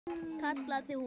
kallaði hún.